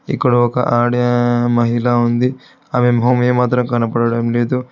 ఇక్కడ ఒక ఆడే మహిళా ఉంది అమె మొహం ఏమాత్రం కనపడడం లేదు.